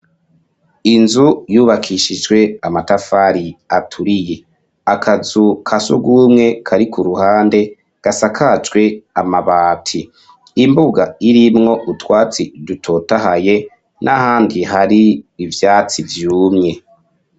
Inzu yubakishijwe amatafari aturiye; akazu kasurwumwe kari ku ruhande gasakajwe amabati; imbuga irimwo utwatsi dutotahaye n'ahandi hari ivyatsi vyumye.